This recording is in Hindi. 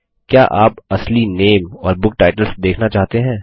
क्या आप असली नामे और बुक टाइटल्स देखना चाहते हैं